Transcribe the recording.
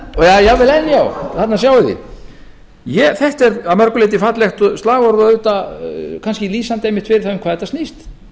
jafnvel enn já þarna sjáið þið þetta er að mörgu leyti fallegt slagorð og kannski auðvitað lýsandi einmitt fyrir það um þetta snýst